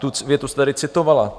Tu větu jste tady citovala.